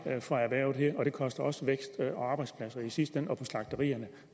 for erhvervet her og det koster også vækst og i sidste ende arbejdspladser på slagterierne